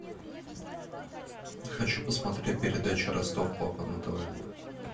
хочу посмотреть передачу ростов папа на тв